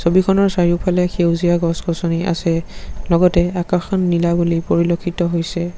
ছবিখনৰ চাৰিওফালে সেউজীয়া গছ-গছনি আছে লগতে আকাশখন নীলা বুলি পৰিলক্ষিত হৈছে।